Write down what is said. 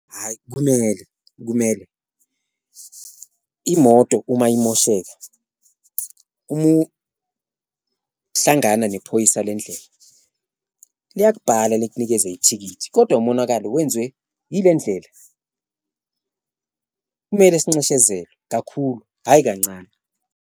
Hhayi, kumele kumele imoto uma imosheka uma uhlangana nephoyisa lendlela liyakubhala likunikeze ithikithi kodwa umonakalo wenziwe ile ndlela, kumele sinxeshezelwe kakhulu hhayi kancane.